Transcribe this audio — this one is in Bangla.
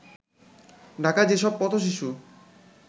ঢাকায় যেসব পথ-শিশু